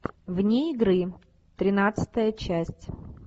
вне игры тринадцатая часть